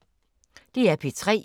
DR P3